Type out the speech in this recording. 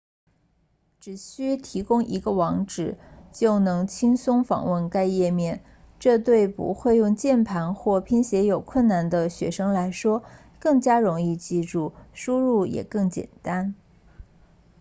只需提供一个网址就能轻松访问该页面这对不会用键盘或拼写有困难的学生来说更加容易记住输入也更简单